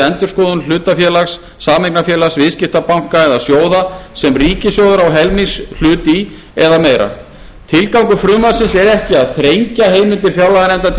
endurskoðun hlutafélags sameignarfélags viðskiptabanka eða sjóða sem ríkissjóður á helmingshlut í eða meira tilgangur frumvarpsins er ekki að þrengja heimildir fjárlaganefndar